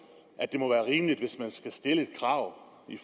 at det må være rimeligt hvis man skal stille krav i